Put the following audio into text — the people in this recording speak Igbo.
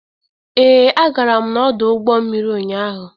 Ee, agara m n'ọdụ ụgbọ mmiri ụnyaahụ.